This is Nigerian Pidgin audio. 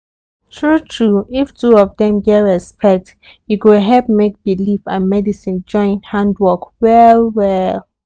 true true if two of dem get respect e go help make belief and medicine join hand work well well.